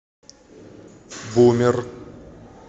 бумер